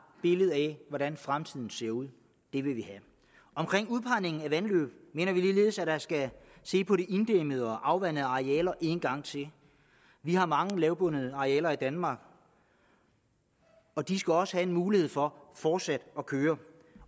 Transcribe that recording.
billede af hvordan fremtiden ser ud det vil vi have omkring udpegningen af vandløb mener vi ligeledes at der skal ses på de inddæmmede og afvandede arealer en gang til vi har mange lavbundede arealer i danmark og de skal også have en mulighed for fortsat at køre